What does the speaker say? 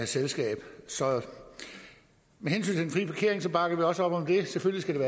selskab med hensyn frie parkering bakker vi også op om det selvfølgelig